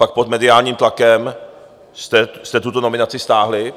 Pak pod mediálním tlakem jste tuto nominaci stáhli.